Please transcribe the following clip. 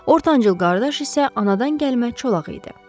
Ortancıl qardaş isə anadan gəlmə çolaq idi.